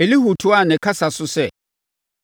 Elihu toaa ne kasa so sɛ,